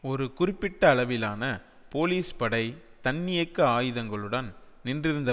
ஒரு குறிப்பிட்ட அளவிலான போலிஸ் படை தன்னியக்க ஆயுதங்களுடன் நின்றிருந்த